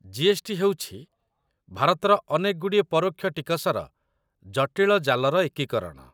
GST. ହେଉଛି ଭାରତର ଅନେକଗୁଡ଼ିଏ ପରୋକ୍ଷ ଟିକସର ଜଟିଳ ଜାଲର ଏକୀକରଣ